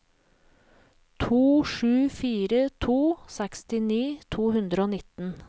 to sju fire to sekstini to hundre og nitten